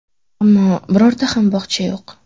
Ammo birorta ham bog‘cha yo‘q.